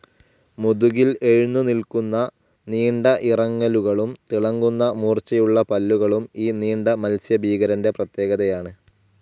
മുതുകിൽ എഴുന്നു നിൽക്കുന്ന നീണ്ട ഇറങ്ങലുകളും തിളങ്ങുന്ന മൂർച്ചയുള്ള പല്ലുകളും ഈ നീണ്ട മത്സ്യഭീകരന്റെ പ്രത്യേകതയാണ്.